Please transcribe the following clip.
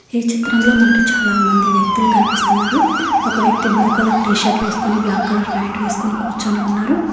ఈ చిత్రంలో మనకి చాలా మంది వ్యక్తులు కనిపిస్తున్నారు ఒక వ్యక్తి బ్లూ కలర్ టీ షర్ట్ వేసుకొని బ్లాక్ కలర్ ప్లాంట్ వేసుకొని కూర్చుని ఉన్నారు.